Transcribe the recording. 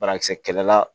Banakisɛ kɛlɛla